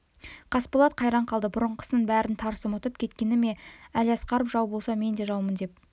қасболат қайран қалды бұрынғысының бәрін тарс ұмытып кеткені ме әлиасқаров жау болса мен де жаумын деп